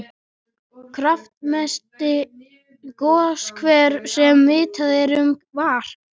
Kraftmesti goshver sem vitað er um var